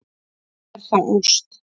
Er það ást?